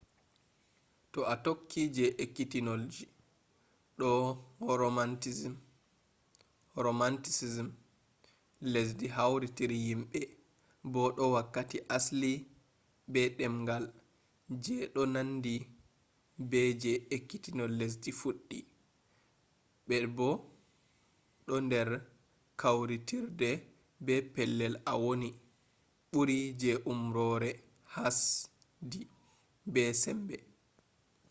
to a tokki je ekkitolji do romanticism lesdi hautiri yimɓe bo do wakkati asli be ɗengal je ɗo nandi be je ekkitol lesdi fuɗɗi be bo ɗo nder kawtirde be pellel a woni ɓuri je umrore hasdi be sembe